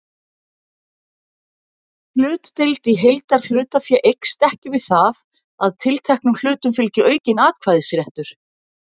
Hlutdeild í heildarhlutafé eykst ekki við það að tilteknum hlutum fylgi aukinn atkvæðisréttur.